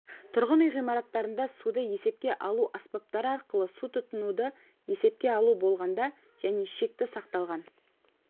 тұрғын үй ғимараттарында суды есепке алу аспаптары арқылы су тұтынуды есепке алу болғанда және шекті сақталған